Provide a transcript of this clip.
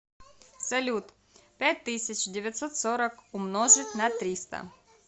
салют пять тысяч девятьсот сорок умножить на триста